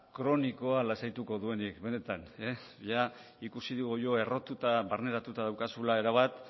kronikoa lasaituko duenik benetan ia ikusi dugu errotuta barneratuta daukazula erabat